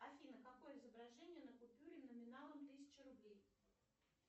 афина какое изображение на купюре номиналом тысяча рублей